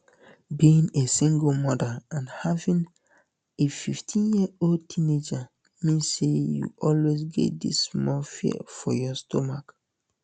being a single mother and having afifteenyearold teenager mean say you always get dis small fear for your stomach